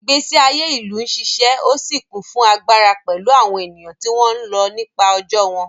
Ìgbésí ayé ìlú ń ṣiṣẹ́ ó sì kún fún agbára pẹ̀lú àwọn ènìyàn tí wọ́n ń lọ nípa ọjọ́ wọn.